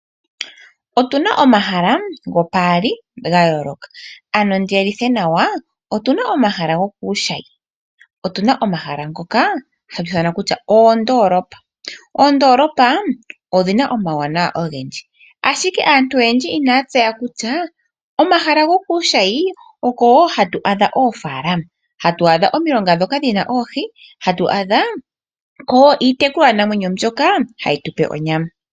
Otu na omahala gopaali ga yoolokathana. Otu na omahala gokuushayi, otu na omahala ngoka hatu ithana kutya oondoolopa. Oondoolopa odhi na omawuwanawa ogendji, ashike aantu oyendji inaya tseya kutya komahala gokuushayi oko wo hatu adha oofaalama, hatu adha ko omilonga ndhoka dhi na oohi, hatu adha ko iitekulwanamwenyo mbyoka hayi tu pe onyama.